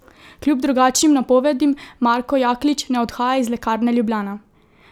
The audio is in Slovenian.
Kljub drugačnim napovedim Marko Jaklič ne odhaja iz Lekarne Ljubljana.